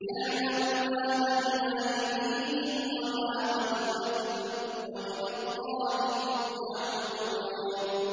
يَعْلَمُ مَا بَيْنَ أَيْدِيهِمْ وَمَا خَلْفَهُمْ ۗ وَإِلَى اللَّهِ تُرْجَعُ الْأُمُورُ